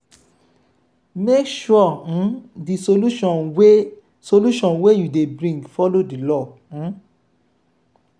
make sure um di solution wey solution wey you dey brign follow di law um